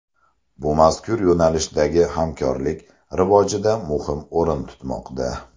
Bu mazkur yo‘nalishdagi hamkorlik rivojida muhim o‘rin tutmoqda.